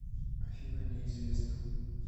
афина неизвестно